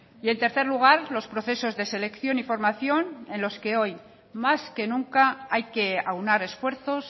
y en tercer lugar los procesos de selección y formación en los que hoy más que nunca hay que aunar esfuerzos